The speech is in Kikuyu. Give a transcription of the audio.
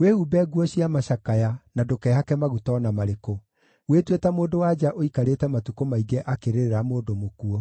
Wĩhumbe nguo cia macakaya, na ndũkehake maguta o na marĩkũ. Wĩtue ta mũndũ-wa-nja ũikarĩte matukũ maingĩ akĩrĩrĩra mũndũ mũkuũ.